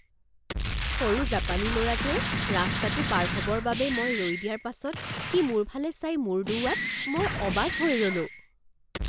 সৰু জাপানী ল'ৰাটোৱে ৰাস্তাটো পাৰ হ'বৰ বাবে মই ৰৈ দিয়াৰ পাছত সি মোৰ ফালে চাই মূৰ দোওঁৱাত মই অবাক হৈ ৰ'লোঁ